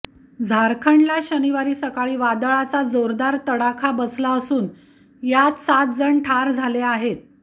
झारखंडला शनिवारी सकाळी वादळाचा जोरदार तडाखा बसला असून यात सात जण ठार झाले आहेत